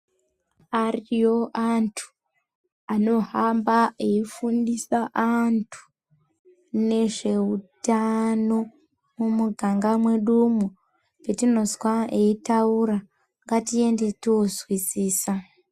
Ariyo antu anohamba eyifundisa antu nezveutano mumiganga mwedumwo. Petinozwa eyitaura, ngatiende tozwisisa.